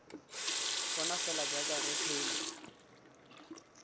bona fela jaaka re phela